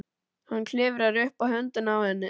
Hann klifrar upp á höndina á henni.